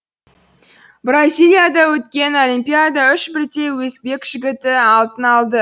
бразилияда өткен олимпиадада үш бірдей өзбек жігіті алтын алды